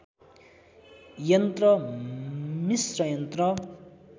यन्त्र मिस्र यन्त्र